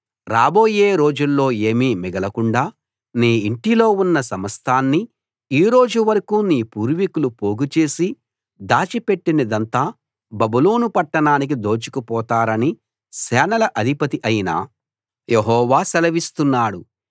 రాబోయే రోజుల్లో ఏమీ మిగలకుండా నీ ఇంటిలో ఉన్న సమస్తాన్నీ ఈ రోజువరకూ నీ పూర్వికులు పోగుచేసి దాచిపెట్టినదంతా బబులోను పట్టణానికి దోచుకుపోతారని సేనల అధిపతి అయిన యెహోవా సెలవిస్తున్నాడు